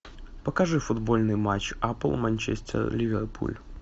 покажи футбольный матч апл манчестер ливерпуль